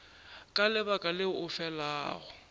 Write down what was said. ka lebaka leo o felago